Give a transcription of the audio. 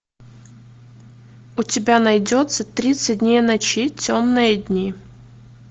у тебя найдется тридцать дней ночи темные дни